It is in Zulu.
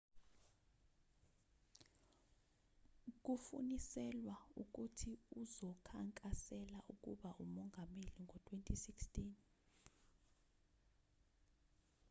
kufuniselwa ukuthi uzokhankasela ukuba umongameli ngo-2016